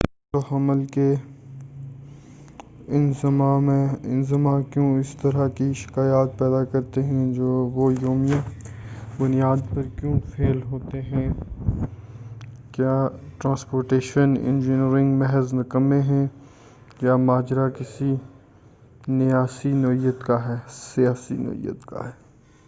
نقل و حمل کے انظمہ کیوں اس طرح کی شکایات پیدا کرتے ہیں وہ یومیہ بنیاد پر کیوں فیل ہوتے ہیں کیا ٹراسپورٹیشن انجینئر محض نکمے ہیں یا ماجرا کسی نیاسی نوعیت کا ہے